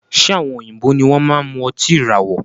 Ṣe àwọn òyìnbó ní wọn máa n mú ọtí ìràwọ̀?